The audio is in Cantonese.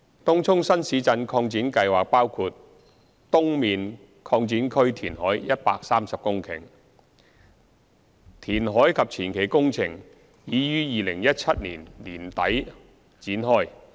東涌新市鎮擴展計劃包括東面擴展區填海130公頃，填海及前期工程已於2017年年底展開。